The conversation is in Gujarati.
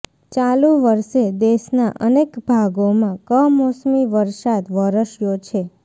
ચાલુ વર્ષે દેશના અનેક ભાગોમાં કમોસમી વરસાદ વરસ્યો છે